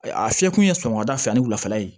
A fiyɛ kun ye sɔgɔmada fɛ yani wulafɛla ye